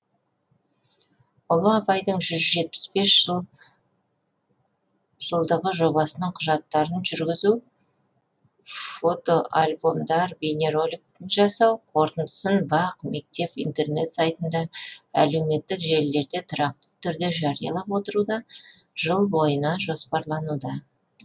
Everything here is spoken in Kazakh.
ұлы абайдың жүз жетпіс бес жыл жобасының құжаттарын жүргүзу фота альбомдар бейнероликтер жасау қорытындысын бақ мектеп интернат сайтында әлеуметтік желілерде тұрақты түрде жариялап отыру да жыл бойына жоспарлануда